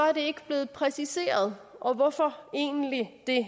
er det ikke blevet præciseret og hvorfor egentlig ikke